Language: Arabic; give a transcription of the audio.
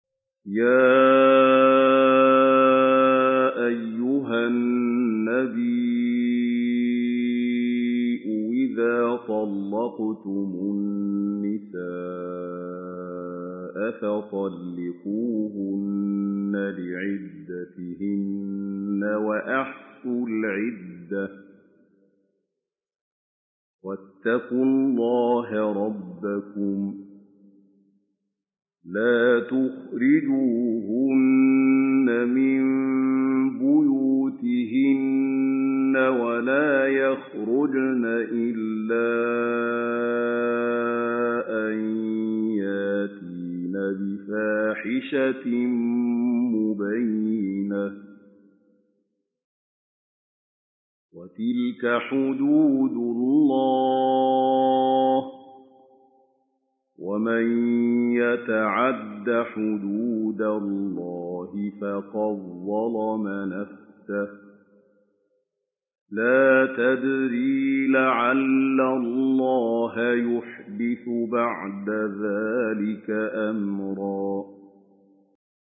يَا أَيُّهَا النَّبِيُّ إِذَا طَلَّقْتُمُ النِّسَاءَ فَطَلِّقُوهُنَّ لِعِدَّتِهِنَّ وَأَحْصُوا الْعِدَّةَ ۖ وَاتَّقُوا اللَّهَ رَبَّكُمْ ۖ لَا تُخْرِجُوهُنَّ مِن بُيُوتِهِنَّ وَلَا يَخْرُجْنَ إِلَّا أَن يَأْتِينَ بِفَاحِشَةٍ مُّبَيِّنَةٍ ۚ وَتِلْكَ حُدُودُ اللَّهِ ۚ وَمَن يَتَعَدَّ حُدُودَ اللَّهِ فَقَدْ ظَلَمَ نَفْسَهُ ۚ لَا تَدْرِي لَعَلَّ اللَّهَ يُحْدِثُ بَعْدَ ذَٰلِكَ أَمْرًا